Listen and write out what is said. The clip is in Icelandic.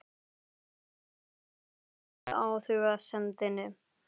Hann læst vera fúll yfir athugasemdinni.